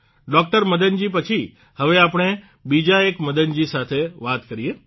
doctor Madanji પછી હવે આપણે બીજા એક મદનજી સાથે વાત કરીએ